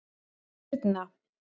Birna